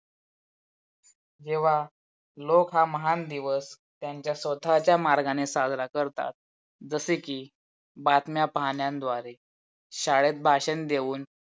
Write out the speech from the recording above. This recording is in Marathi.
जेव्हा लोक हा माहान दिवस त्यांचा स्वतःच्या मार्गाने साजरा करतात. जसे की बातम्या पाहण्यानद्वारे, शाळेत भाषण देऊन,